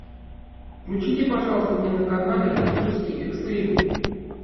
включите пожалуйста мне на канале русский экстрим